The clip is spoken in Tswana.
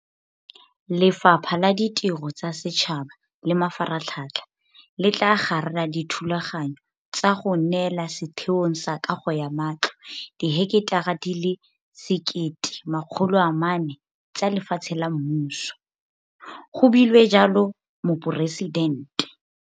Lefapha la Ditiro tsa Setšhaba le Mafaratlhatlha le tla garela dithulaganyo tsa go neela Setheong sa Kago ya Matlo diheketara di le 1 400 tsa lefatshe la mmuso, go buile jalo Moporesidente.